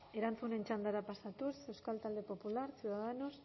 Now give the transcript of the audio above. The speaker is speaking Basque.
erantzunen txandara pasatuz euskal talde popular ciudadanos